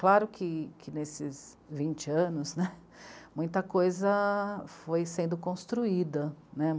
Claro que, que nesses vinte anos né, muita coisa foi sendo construída, né.